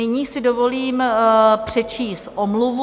Nyní si dovolím přečíst omluvu.